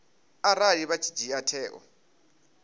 arali vha tshi dzhia tsheo